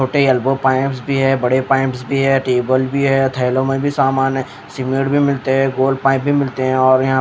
छोटे elbow pipes भी हैं बड़े पाइप्स भी हैं टेबल भी हैं थैलों में भी सामान है सीमेंट भी मिलते हैं गोल पाइप भी मिलते हैं और यहाँ--